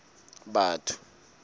batho